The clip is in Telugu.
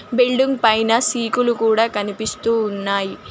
బిల్డింగ్ పైన సీకులు కూడా కనిపిస్తూ ఉన్నాయి.